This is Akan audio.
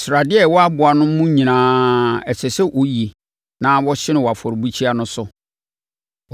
Sradeɛ a ɛwɔ aboa no mu nyinaa, ɛsɛ sɛ wɔyi na wɔhye no wɔ afɔrebukyia no so.